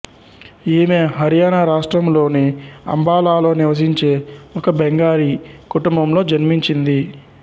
ఈమె హర్యానా రాష్ట్రంలోని అంబాలాలో నివసించే ఒక బెంగాలీ కుటుంబంలో జన్మించింది